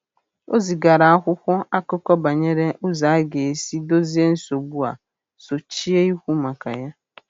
O zigara akwụkwọ akụkọ banyere ụzọ a ga-esi dozie nsogbu a sochie ikwu maka ya.